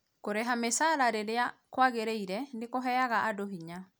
kũrĩha mĩcara rĩrĩa kwagĩrĩire nĩkũheaga andũ hinya